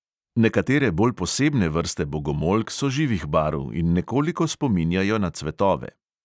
Nekatere bolj posebne vrste bogomolk so živih barv in nekoliko spominjajo na cvetove.